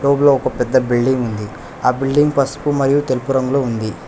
ఊళ్లో ఒక పెద్ద బిల్డింగుంది ఆ బిల్డింగ్ పస్పు మరియు తెలుపు రంగులో ఉంది.